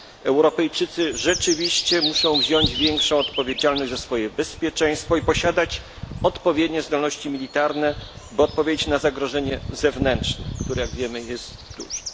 Europejczycy rzeczywiście muszą wziąć większą odpowiedzialność za swoje bezpieczeństwo i posiadać odpowiednie zdolności militarne, by odpowiedzieć na zagrożenie zewnętrzne, które, jak wiemy, jest duże.